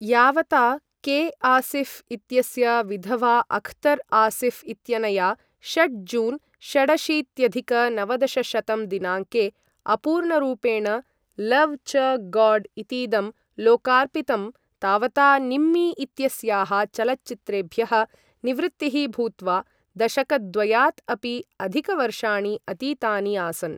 यावता के.आसिऴ् इत्यस्य विधवा अख्तर् आसिऴ् इत्यनया षट् जून् षडशीत्यधिक नवदशशतं दिनाङ्के अपूर्णरूपेण लव् च गाड् इतीदं लोकार्पितं, तावता निम्मी इत्यस्याः चलच्चित्रेभ्यः निवृत्तिः भूत्वा दशकद्वयात् अपि अधिकवर्षाणि अतीतानि आसन्।